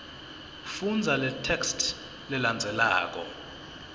fundza letheksthi lelandzelako